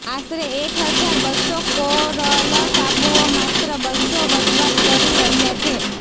આશરે એક હજાર બસ્સો કોરલ ટાપુઓ માત્ર બસ્સો વસવાટ કરી રહ્યા છે